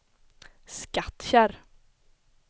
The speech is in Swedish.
Skattkärr